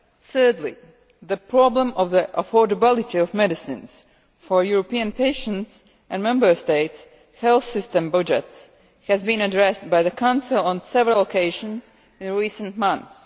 Thirdly, the problem of the affordability of medicines for European patients and Member States' health system budgets has been addressed by the Council on several occasions in recent months.